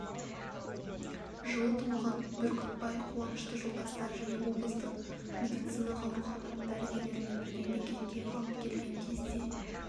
жылы туылған бүркітбай қуанышты жолдастары және облыстық медициналық аурухана дәрігерлерімен бірге бекетке алып келген кезде